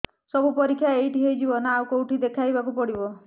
ସବୁ ପରୀକ୍ଷା ଏଇଠି ହେଇଯିବ ନା ଆଉ କଉଠି ଦେଖେଇ ବାକୁ ପଡ଼ିବ